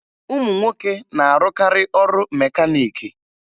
Ụmụ nwoke na-arụkarị ọrụ mekaniiki